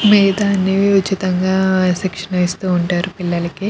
మిగతావన్నీ ఉచితంగా శిక్షణ ఇస్తూ ఉంటారు పిల్లలకి.